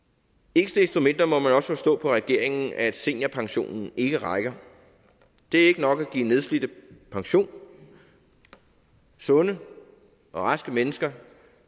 ikke desto mindre må man også forstå på regeringen at seniorpensionen ikke rækker det er ikke nok at give nedslidte pension sunde og raske mennesker